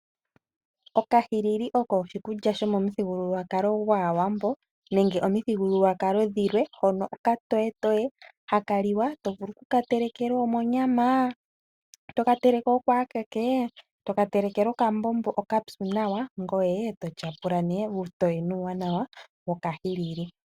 Okahilili oko oshikulya shomomithigululwakalo dhaaWambo nenge omithigululwakalo dhilwe. Hono okatoyetoye haka liwa to vulu ku ka telekela omonyama, toka teleke oko ekeke, toka telekele okambombo okapyu nawa, ngoye e to tyapula mee uutoye nuuwanawa wokahilili.